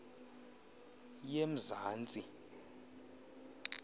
yemzantsi